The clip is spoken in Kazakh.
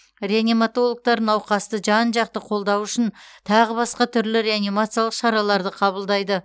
реаниматологтар науқасты жан жақты қолдау үшін тағы басқа түрлі реанимациялық шараларды қабылдайды